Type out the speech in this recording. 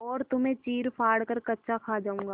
और तुम्हें चीरफाड़ कर कच्चा खा जाऊँगा